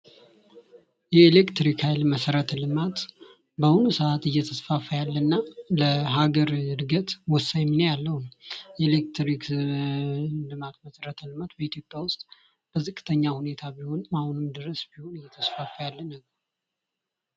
የኤሌክትሪክ ሃይል መሰረተ ልማት በአሁኑ ሰአት የተስፋፋ ያለእና ለሃገረ እድገት ወሳኝ ሚና ያለውን የኤሌክትሪክ ልማት መሰረተ ልማት በኢትዮጲያ ውስጥ በዝቅተኛ ሁኔታ ቢሆንም አሁን ድረስ ቢሆን እየተስፋፋ ያለ ነገር ነው።